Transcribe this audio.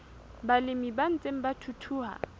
balemi ba ntseng ba thuthuha